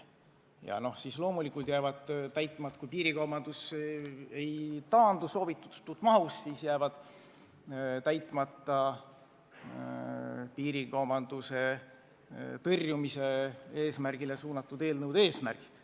Ja loomulikult, kui piirikaubandus ei taandu soovitud mahus, siis jäävad täitmata piirikaubanduse tõrjumisele suunatud eelnõude eesmärgid.